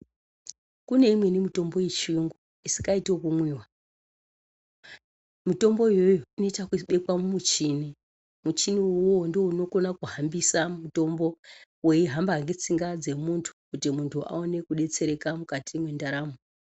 Kuneimweni mitombo yechiyungu asikaiti yekumwiwa. mitombo iyoyoyo inoita yekubekwa mumuchini, muchini ivovo ndivo unokona kuhambisa mutombo veihamba netsinga dzomuntu. Kuti muntu aone kubetsereka mukati mwendaramo.